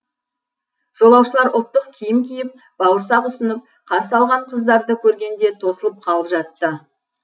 жолаушылар ұлттық киім киіп бауырсақ ұсынып қарсы алған қыздарды көргенде тосылып қалып жатты